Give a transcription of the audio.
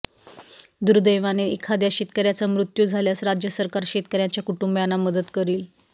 दुदैवाने एखाद्या शेतकर्याचा मृत्यू झाल्यास राज्य सरकार शेतकर्याच्या कुटुंबाना मदत करील